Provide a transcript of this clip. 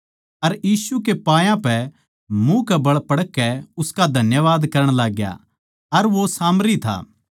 अर यीशु कै पायां पै मुँह कै बळ पड़कै उसका धन्यवाद करण लाग्या अर वो सामरी था